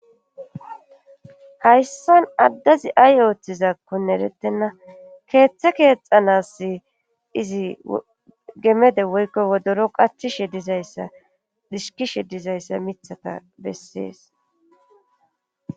hayssan addazi ay ooththizakkone erettenna keeththe keexanas izi gemede woykko wodoro qachishe dizaya dishkishe dizayssa mithata bessees